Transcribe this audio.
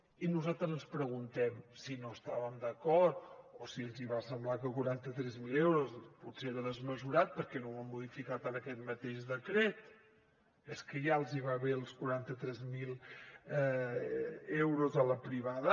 i nosaltres ens preguntem si no estàvem d’acord o si els va semblar que quaranta tres mil euros potser era desmesurat per què no ho han modificat en aquest mateix decret és que ja els van bé els quaranta tres mil euros a la privada